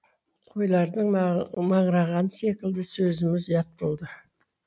қойлардың маңырағаны секілді сөзіміз ұят болды